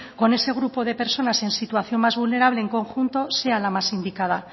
con ese grupo de personas en situación más vulnerable en conjunto sea la más indicada